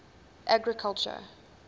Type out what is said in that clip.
agriculture